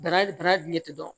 Dara darati dɔn